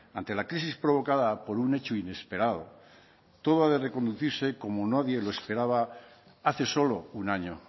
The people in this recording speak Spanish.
ante la crisis provocada por un hecho inesperado todo ha de reconducirse como nadie lo esperaba hace solo un año